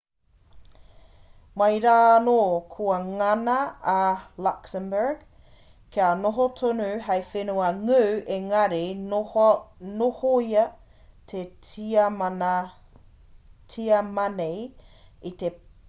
mai rā anō kua ngana a luxembourg kia noho tonu hei whenua ngū engari i nohoia e tiamani i te pakanga tuatahi o te ao me te pakanga tuarua o te ao